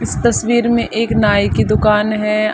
इस तस्वीर में एक नाई की दुकान है।